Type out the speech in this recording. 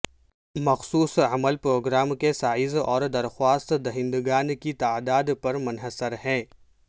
مخصوص عمل پروگرام کے سائز اور درخواست دہندگان کی تعداد پر منحصر ہے